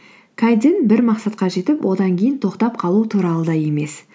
бір мақсатқа жетіп одан кейін тоқтап қалу туралы да емес